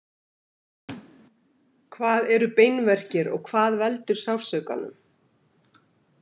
Hvað eru beinverkir og hvað veldur sársaukanum?